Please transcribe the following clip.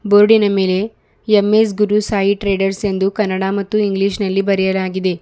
ಬೋರ್ಡಿನ ಮೇಲೆ M S Guru Sai traders ಎಂದು ಕನ್ನಡ ಮತ್ತು ಇಂಗ್ಲಿಷ್ ನಲ್ಲಿ ಬರೆಯಲಾಗಿದೆ.